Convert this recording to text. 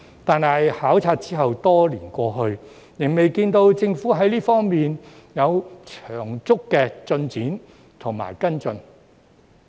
但是，考察後多年過去，仍未看到政府在這方面有長足的進展和跟進。